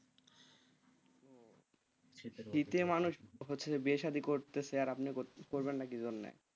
হচ্ছে যে বিয়ে শাদী করেছে, আর আপনি করবেন না কি জন্য,